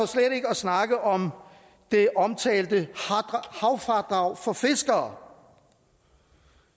snakke om det omtalte havfradrag for fiskere